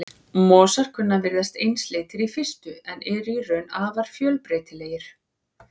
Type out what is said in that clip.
Mosar kunna að virðast einsleitir í fyrstu en eru í raun afar fjölbreytilegir.